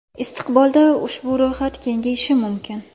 Istiqbolda ushbu ro‘yxat kengayishi mumkin.